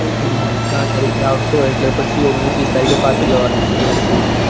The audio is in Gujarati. હમ સાત તારીખે આવશો એટલે પછી ઓગણીશ વીશ તારીખે પાછું જવાનું જયપુર.